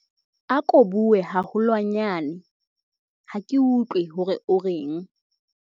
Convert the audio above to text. ako bue haholwanyane ha ke utlwe hore o reng